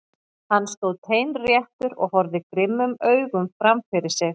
Hann stóð teinréttur og horfði grimmum augum fram fyrir sig.